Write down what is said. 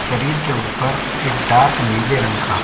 शरीर के ऊपर एक डार्क नीले रंग का --